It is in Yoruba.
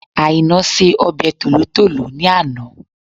Àìná se ọbẹ̀ tòlótòló ní àná